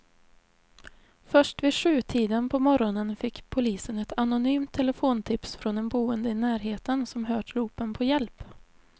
Först vid sjutiden på morgonen fick polisen ett anonymt telefontips från en boende i närheten som hört ropen på hjälp.